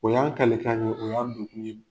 O y'an kale kan ye, o y'an don kun ye.